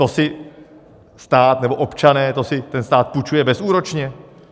To si stát nebo občané, to si ten stát půjčuje bezúročně?